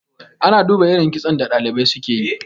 ana duba irin kitson da dalibai suka yi